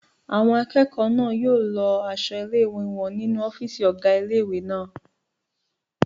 Àwọn akẹ́kọ̀ọ́ náà yóò lọ aṣọ ilé-ìwé wọn nínu ọ́fìsì ọgá ilé-ìwé náà